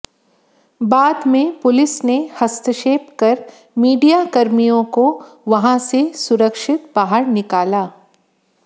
बाद में पुलिस ने हस्तक्षेप कर मीडियाकर्मियों को वहां से सुरक्षित बाहर निकाला